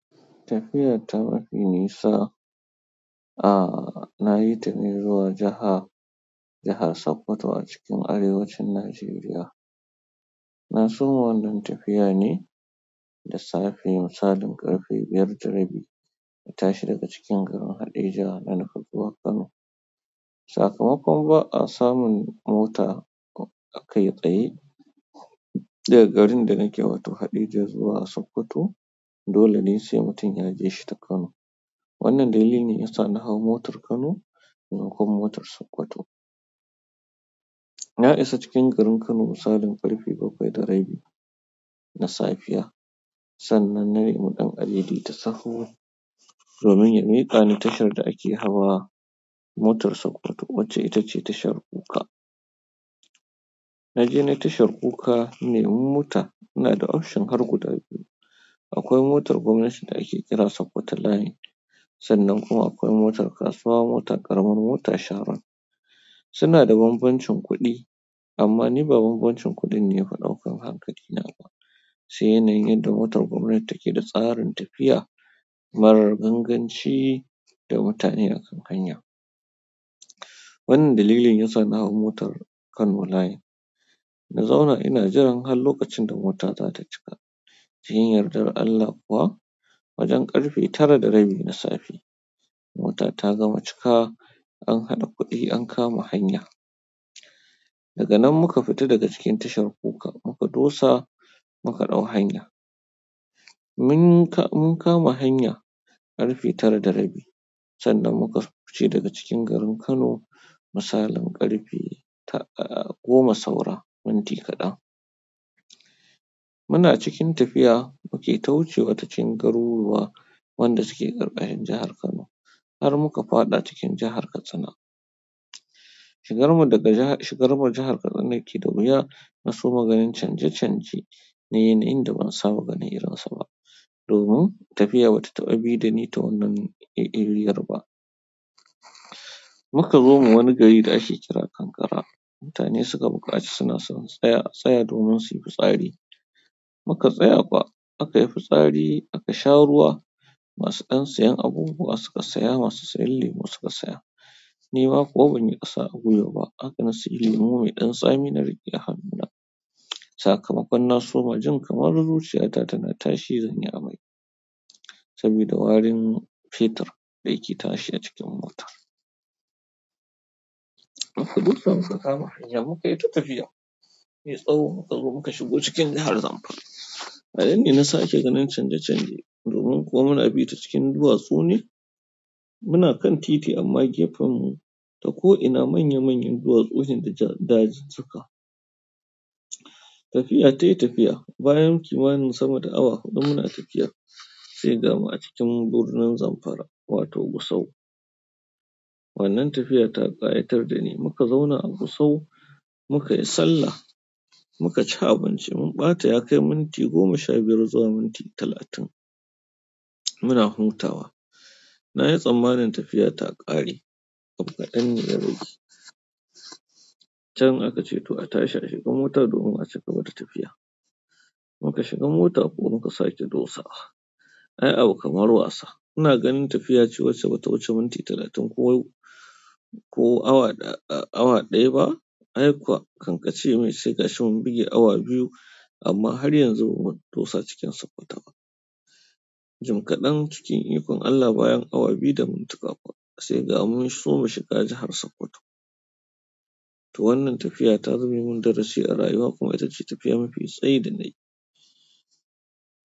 Tafiyar ta mafi nisa, a, na yi ta ne zuwa jaha-jahar Sokoto a cikin arewacin Najeriya. Na soma wannan tafiya ne da safe misalin ƙarfe biyar da rabi, na tashi daga cikin garin Haɗeja na nufi zuwa Kano. Sakamakon ba a samun mota aka yi tsaye, daga garin da nake wato Haɗeja zuwa Sokoto, dole ne sai mutum ya je shi ta Kano. Wannan dalili ya sa na hau motar Kano sannan kuma motar Sokoto. Na isa cikin garin Kano misalin ƙarfe bakwai da rabi na safe. Sannan na bi ɗan adaidaita sahu domin ya miƙa ni tashar da ake hawa motar Sokoto wacce ita ce tashar kuka. Na je ni tashar kuka, in nemi mota, ina da option har guda biyu. Akwai motar gwamnati da ake kira Sokoto Line, sannan kuma akwai motar kasuwa, motar ƙaramar mota Sharon. Suna da bambancin kuɗi amma ni ba ba banbancin kuɗin ne ya fi ɗaukan hankali na ba, sai yanayin yanda motar gwamnati take da tsarin tafiya marar ganganci da mutane a kan hanya. Wannan dalili ne ya sa na hau motar Kano Line. Na zauna ina jiran har lokacin da mota za ta cika. Cikin yardar Allah kuwa, wajen ƙarfe tara da rabi na safe, mota ta gama cika, an haɗa kuɗi an kama hanya. Daga nan muka fita daga cikin tashar kuka muka dosa, muka ɗau hanya. Mun ka-mun kama hanya ƙarfe tara da rabi sannan muka fice daga cikin garin Kano misalin ƙarfe ta, a, goma saura minti kaɗan. Muna cikin tafiya muke ta wucewa ta cikin garuruwa wanda suke ƙarƙashin jahar Kano, har muka faɗa cikin jahar Katsina. Shigar mu daga jahar-shigar mu jahar Katsina yake da wuya, na soma ganin canje canje na yanayin da ban saba ganin irinsa ba. Domin tafiya ba ta taɓa bi da ni ta wannan, ehriyar ba. Muka zo ma wani gari da ake kira Kankara. Mutane suka buƙaci suna son mu tsaya, a tsaya domin su yi fitsari. Muka tsaya kuwa aka yi fitsari aka sha ruwa. Masu ɗan sayen abubuwa suka saya, masu sayan lemu suka saya. Ni ma kuwa ban yi ƙasa a gwiwa ba, haka na sayi lemu mai ɗan tsami na riƙe a hannuna. Sakamakon na soma jin kamar zuciya ta ta na tashi zan yi amai. Saboda warin fetur da yake tashi a cikin mota. Sai muka kama hanya mu kayi ta tafiya, mai tsawo muka zo mu ka shigo jahar Zamfara, a yanda na sake ganin canje-canje domin kuwa muna bi ta cikin duwatsu ne. Muna kan titi amma gefen mu ta ko'ina manya manyan duwatsu ne da dazuka. Tafiya ta yi tafiya. Bayan kimanin sama da awa huɗu muna tafiya, sai ga mu a cikin birnin Zamfara wato Gusau. Wannan tafiya ta ƙayatar da ni. Muka zauna a Gusau muka yi sallah muka ci abinci. Mun ɓata ya kai minti goma sha biyar zuwa minti talatin. Muna hutawa. Na yi tsammanin tafiya ta ƙare. Abu kaɗan ne ya rage. Can aka ce toh a tashi a shiga mota domin a ci gaba da tafiya. Muka shiga mota kuwa muka sake dosawa. Ai abu kamar wasa. Ina ganin tafiya ce wacce ba ta wuce minti talatin ko, ko awa ɗaya, awa ɗaya ba. Ai kuwa kan ƙace mai sai gashi mun buge awa biyu amma har yanzu bamu dosa cikin Sokoto ba. Jim kaɗan cikin ikon Allah bayan awa biyu da mintuka kuwa, sai ga mu mun soma shiga jahar Sokoto. Toh wannan tafiya ta zame min darasi a rayuwa kuma ita ce tafiya mafi tsayi da na yi.